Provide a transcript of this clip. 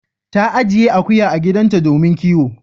Ta ajiye akuya a gidanta domin kiwo.